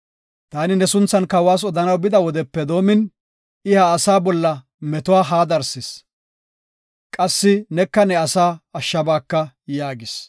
Taani ne sunthan kawas odanaw bida wodepe doomin I ha asaa bolla meto ha darsis. Qassi neka ne asaa ashshabaaka” yaagis.